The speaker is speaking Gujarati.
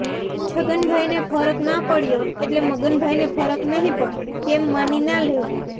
છગનભાઈને ફરક ના પડ્યો એટલે મગનભાઈને ફરક નહીં પડે તેમ માની ના લેવું